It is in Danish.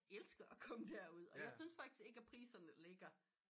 Elsker at komme der ud og jeg syntes ikke at priserne ligger